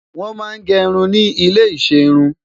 wọn má gé irún ní ilè iṣẹ irun